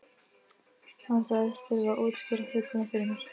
Hann sagðist þurfa að útskýra hlutina fyrir mér.